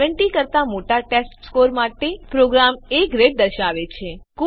૭૦ કરતા મોટા ટેસ્ટસ્કોર માટે પ્રોગ્રામ એ ગ્રેડ દર્શાવશે